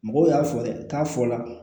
Mɔgɔw y'a fɔ dɛ k'a fɔ la